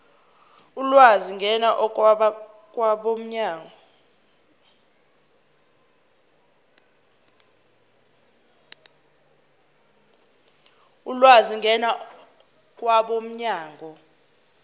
ulwazi ngena kwabomnyango